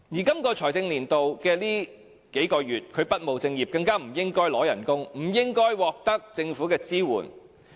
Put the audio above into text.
本財政年度的最近數個月，他不務正業，不應該支取薪酬，更不應該獲得政府的支援。